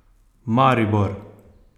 Maribor!